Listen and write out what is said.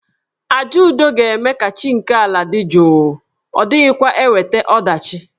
Àjà udo ga-eme ka chi nke ala dị jụụ, ọ dịghịkwa eweta ọdachi.